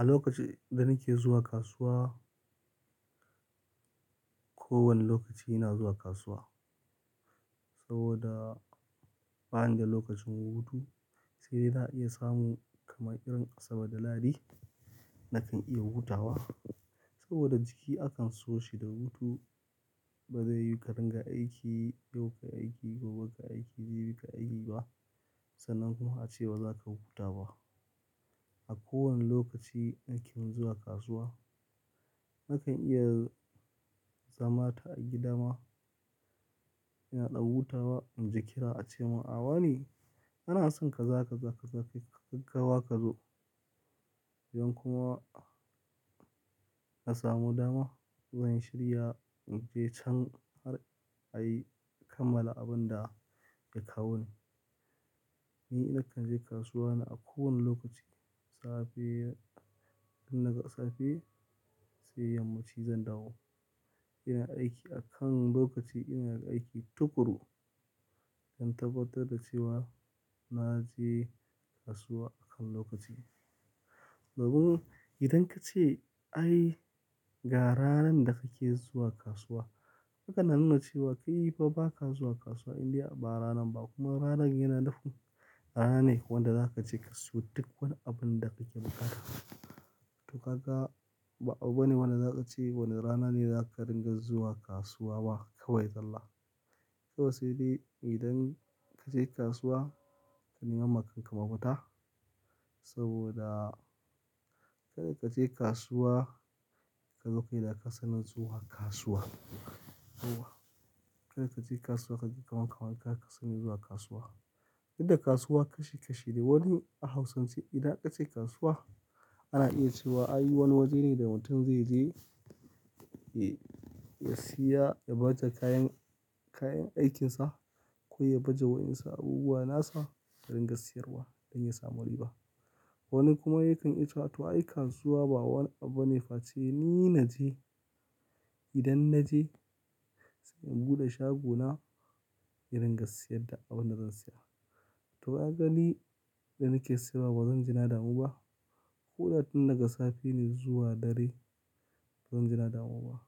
A lokacin da nake zuwa kasuwa, kowane lokaci ina zuwa kasuwa saboda ba ni da lokacin hutu sai da za a iya samu kama irin Asabar da Ladi na kan iya hutawa. Saboda jiki akan so shi da hutu, ba zai yiwu ka ringa aiki, yau ka yi aiki, gobe ka yi aiki, jibi ka yi aiki ba. Sannan kuma ace ba za ka huta ba. A kowane lokaci nake zuwa kasuwa, nakan iya zama ta a gida ma ina ɗan hutawa inji kira ace min, "A wa ne, ana son ka za ka za ka kai gaggawa ka zo idan kuma ka samu dama zan shirya in je can har a yi kammala abin da ya kawo ni." Ni na kan je kasuwa na a ko wane lokaci. Safe, idan na ga safe sai yammaci zan dawo. Ina aiki akan lokaci, ina aiki tuƙuru don tabbatar da cewa na je kasuwa akan lokaci. Udan ka ce, "Ai ga ranar da kake zuwa kasuwa," haka na nuna cewa kai fa ba ka zuwa kasuwa in dai ba ranar ba kuma ranar yana nufin rana ne wanda za ka je ka sayo duk wani abun da kake buƙata. To ka ga, ba abu bane wanda za ka ce wani rana ne za ka ringa zuwa kasuwa ba, kawai zalla Kawa sai dai idan ka je kasuwa, ka nemi makanka mafita saboda kadai ka je kasuwa ka zo kai da ka sani zuwa kasuwa. To wa, kadai ka je kasuwa kaji kamanka wanda ka sani zuwa kasuwa. Inda kasuwa kashi-kashi ne. Wani a hausance idan aka ce kasuwa ana iya cewa ai wani waje ne da mutum zai je ya siya ya bata kayan, kayan aikinsa ko ya baje wa'insa abubuwa nasa ya ringa siyarwa don ya samu riba. Wani kuma yakan iya cewa,"to ai kasuwa ba wani abu ne face ni na je. Idan na je sai in bude shagona, in ringa siyar da abin da zan siya." To ka gani idan nake siyarwa ba zan ji nadamu ba. Ko da tun daga safe ne zuwa dare, ba zan ji nadamu ba.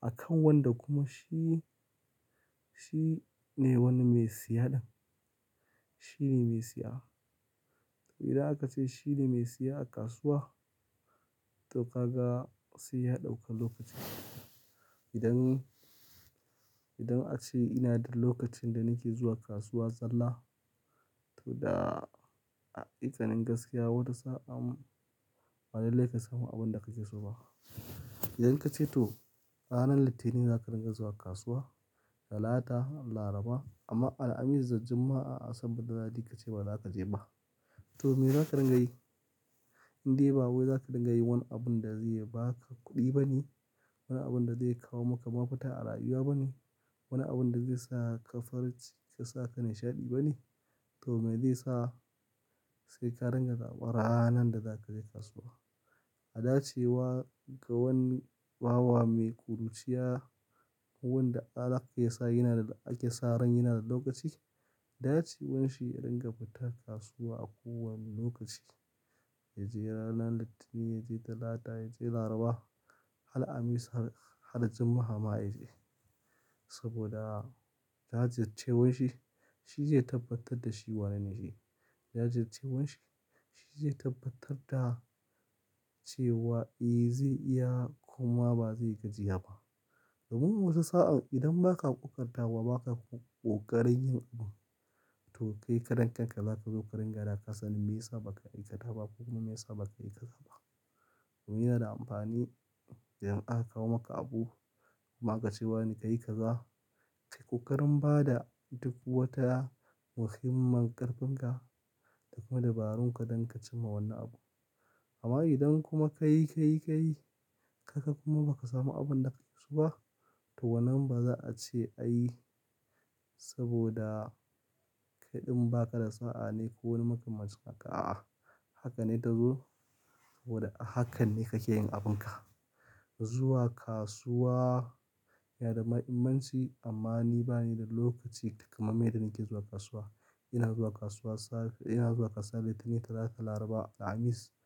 Akan wanda kuma shi, shi ne wani mai siya ɗin. Shi ne mai siya. To idan aka ce shi ne mai siya a kasuwa, to ka ga sai ya ɗauka lokacin. Idan, idan a ce ina da lokacin da nake zuwa kasuwa zalla, to da, haƙiƙa nin gaskiya wata sa'an ba lallai ka samu abin da kake so ba. Idan ka ce to ranar Litinin za ka ringa zuwa kasuwa, Talata, Laraba amma Alhamis da Juma'a Asabar da Lahadi ka ce ba za ka je ba. To me za ka ringa yi? Inde ba wai za ka ringa wani abun da zai ba ka kuɗi bane, wani abun da zai kawo maka mafita a rayuwa bane, wani abun da zai sa ka farin ciki ka sa ka nishaɗi bane. To me zai sa sai ka ringa zaɓar ranar da za ka je kasuwa? A dace wa ga wani bawa mai ƙuruciya, abun da ala yake sa yana da ake sa ran yana da lokaci. Dacewan shi ka ringa fita kasuwa a kowane lokaci. Ya je ranar Litinin, ya je Talata, ya je Laraba, har Alhamis har, har Juma'a ma ya je. Saboda da yardar cewanshi shi zai tabbatar da shi wane ne shi. Da yardar cewanshi shi zai tabbatar da cewa eh zai iya kuma ba zai gajiya ba. Domin wasu sa'an idan ba ka ƙoƙartawa ba ka ƙoƙarin yin abu, to kai kaɗan kanka za ka zo ka ringa da kasani me yasa ba ka yi kada ba kuma me yasa ba ka yi ka zaba. Ku yi na da amfani idan aka kawo maka abu kuma aka ce wa ne ka yi ka za, ka yi ƙoƙarin ba da duk wata muhimman ƙarfin ka da kuma dabarun ka don ka cimma wannan abu. Amma idan kuma ka yi, ka yi, ka yi, ka kuma ba ka samu abin da ka yi so ba, to wannan ba za'a ce ayi saboda kai ɗin ba ka da sa'a ne ko wani makaman cin haka, a'a. Haka ne ta zo saboda hakan ne kake yin abun ka. Zuwa kasuwa yana da mahimmanci amma ni bani da lokaci kamar dai nake zuwa kasuwa. Ina zuwa kasuwa safe, ina zuwa kasuwa Litinin, Talata, Laraba, Alhamis.